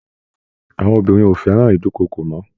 Àwọn obìnrin ò fẹ́ràn ìdúnkookò mọ́